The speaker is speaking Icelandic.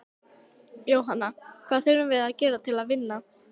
Jóhanna: Hvað þurfum við að gera til að vinna?